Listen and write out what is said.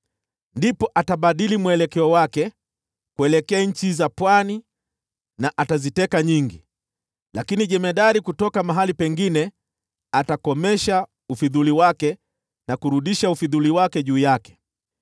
Ndipo atabadili nia yake kupigana na nchi za pwani na ataziteka nyingi, lakini jemadari mmoja atakomesha ufidhuli wake na kurudisha ufidhuli wake juu yake.